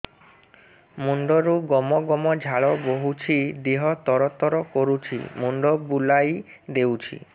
ମୁଣ୍ଡରୁ ଗମ ଗମ ଝାଳ ବହୁଛି ଦିହ ତର ତର କରୁଛି ମୁଣ୍ଡ ବୁଲାଇ ଦେଉଛି